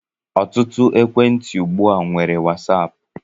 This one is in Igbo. Ọtụtụ ekwentị ugbu a nwere Wasaap.